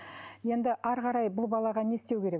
енді әрі қарай бұл балаға не істеу керек